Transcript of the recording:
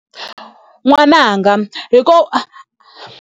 N'wananga .